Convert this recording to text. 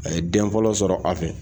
A ye den fɔlɔ sɔrɔ a fɛ.